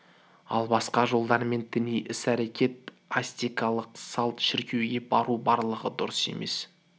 ал басқа жолдармен діни іс-әрекет аскетикалық салт шіркеуге бару барлығы дұрыс емес